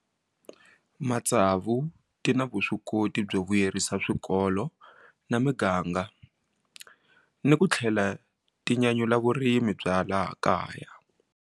Matsavu ti na vuswikoti byo vuyerisa swikolo na miganga ni ku tlhela ti nyanyula vurimi bya laha kaya.